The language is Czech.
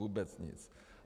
Vůbec nic.